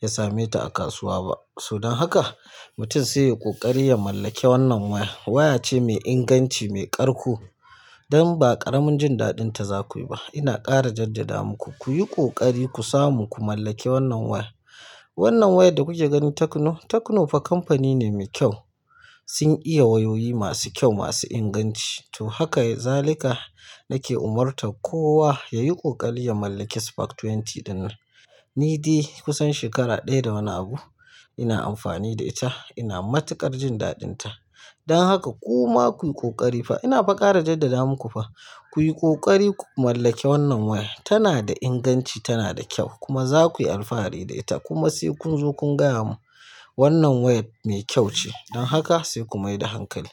ya same ta a kasuwa ba. To don haka mutum sai yi ƙoƙari ya mallake wannan waya. Waya ce mai inganci, mai ƙarƙo dan ba ƙaramin jin daɗinta za ku yi ba. Ina ƙara jaddada muku ku yi ƙoƙari ku samu ku mallake wannan waya. Wannan wayar da kuka gani Techno, Techno fa kamfani ne mai kyau. Sun iya wayoyi masu kyau, masu inganci. To haka zalika nake umarta kowa yayi ƙoƙari ya mallaki Spark twenty ɗinnan. Ni dai kusan shekara ɗaya da wani abu ina amfani da ita. Ina matuƙar jin daɗinta. Don haka kuma ku yi ƙoƙari fa ina fa ƙara jaddada muku fa. Ku yi ƙoƙari ku mallake wannan waya. Tana da inganci, tana da kyau kuma za ku yi alfahari da ita kuma sai kun zo kun gaya mun wannan wayar mai kyau ce. Don haka sai ku mai da hankali.